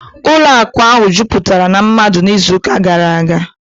ụlọ akụ ahụ jupụtara na mmadụ n'izu gara aga